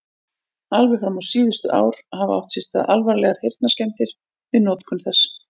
Alveg fram á síðustu ár hafa átt sér stað alvarlegar heyrnarskemmdir við notkun þess.